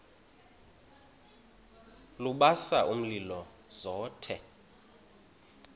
lubasa umlilo zothe